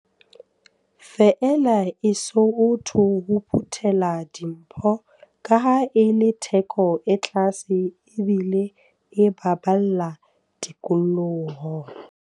Feela e sootho ho phuthela dimpho, kaha e le theko e tlase ebile e baballa tikoloho.